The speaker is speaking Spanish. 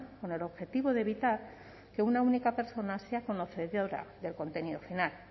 con el objetivo de evitar que una única persona sea conocedora del contenido final